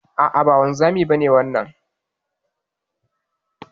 A'a ba wanzamin ba ne wannan.